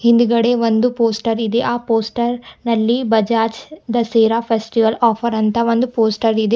ಹಿಂದ್ಗಡೆ ಒಂದು ಪೋಸ್ಟರ್ ಇದೆ ಆ ಪೋಸ್ಟರ್ ನಲ್ಲಿ ಬಜಾಜ್ ದಸೆರಾ ಫೆಸ್ಟಿವಲ್ ಆಫರ್ ಅಂತ ಒಂದು ಪೋಸ್ಟರ್ ಇದೆ.